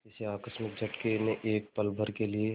किसी आकस्मिक झटके ने एक पलभर के लिए